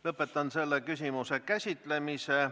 Lõpetan selle küsimuse käsitlemise.